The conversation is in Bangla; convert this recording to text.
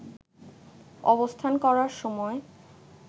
অবস্থান করার সময়